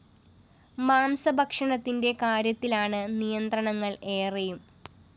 മാംസ ഭക്ഷണത്തിന്റെ കാര്യത്തിലാണ് നിയന്ത്രണങ്ങള്‍ ഏറെയും